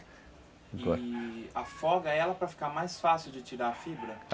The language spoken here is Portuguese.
E afoga ela para ficar mais fácil de tirar a fibra?